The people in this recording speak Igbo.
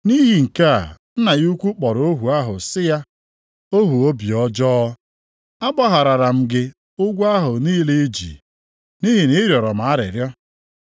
“Nʼihi nke a Nna ya ukwu kpọrọ ohu ahụ sị ya, ‘Ohu obi ọjọọ! Agbaghara m gị ụgwọ ahụ niile i ji, nʼihi na ị rịọrọ m arịrịọ.